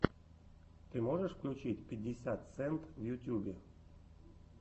ты можешь включить пятьдесят сент в ютьюбе